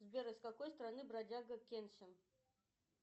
сбер из какой страны бродяга кенсин